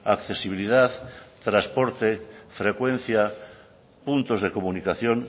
accesibilidad transporte frecuencia puntos de comunicación